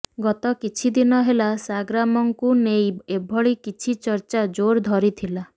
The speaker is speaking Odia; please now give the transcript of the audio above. ଗତ କିଛି ଦିନ ହେଲା ସାଗରାମଙ୍କୁ ନେଇ ଏଭଳି କିଛି ଚର୍ଚ୍ଚା ଜୋର ଧରିଥିଲା